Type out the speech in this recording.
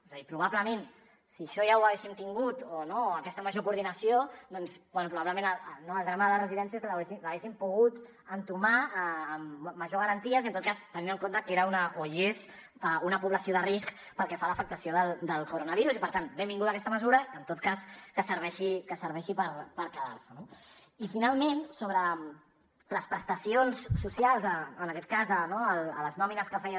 és a dir probablement si això ja ho haguéssim tingut aquesta major coordinació doncs bé probablement el drama de les residències l’haguéssim pogut entomar amb major garanties i en tot cas tenint en compte que era i és una població de risc pel que fa a l’afectació del coronavirus i per tant benvinguda aquesta mesura en tot cas que serveixi per quedar se no i finalment sobre les prestacions socials en aquest cas no a les nòmines que feia